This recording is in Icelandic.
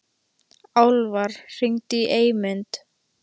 Álfar, hringdu í Eymund.